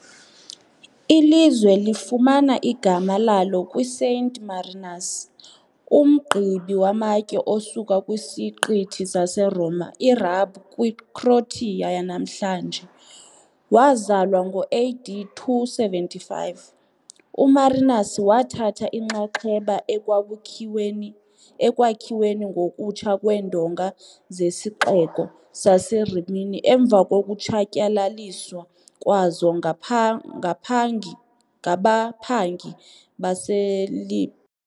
Ilizwe lifumana igama lalo kwiSaint Marinus, umqibi wamatye osuka kwisiqithi saseRoma iRab kwiCroatia yanamhlanje. Wazalwa ngo-AD 275, uMarinus wathatha inxaxheba ekwakhiweni ngokutsha kweendonga zesixeko saseRimini emva kokutshatyalaliswa kwazo ngapha ngaphangi ngabaphangi baseLib.